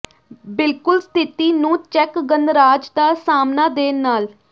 ਬਿਲਕੁਲ ਸਥਿਤੀ ਨੂੰ ਚੈੱਕ ਗਣਰਾਜ ਦਾ ਸਾਹਮਣਾ ਦੇ ਨਾਲ